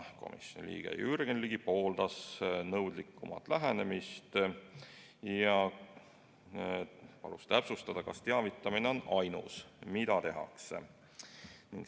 Komisjoni liige Jürgen Ligi pooldas nõudlikumat lähenemist ja palus täpsustada, kas teavitamine on ainus, mida tehakse.